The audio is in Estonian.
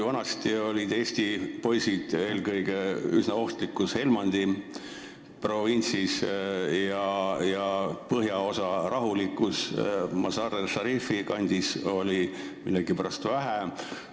Aga vanasti olid Eesti poisid eelkõige üsna ohtlikus Helmandi provintsis ja põhjaosa rahulikus Mazar-e Sharifi kandis oli neid millegipärast vähe.